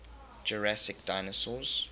jurassic dinosaurs